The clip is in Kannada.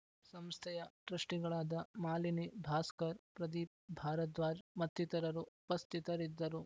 ಸಂಸ್ಥೆಯ ಟ್ರಸ್ಟಿಗಳಾದ ಮಾಲಿನಿ ಭಾಸ್ಕರ್‌ ಪ್ರದೀಪ್‌ ಭಾರಧ್ವಾಜ್‌ ಮತ್ತಿತರರು ಉಪಸ್ಥಿತರಿದ್ದರು